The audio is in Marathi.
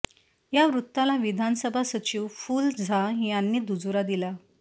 या वृत्ताला विधानसभा सचिव फूल झा यांनी दुजोरा दिला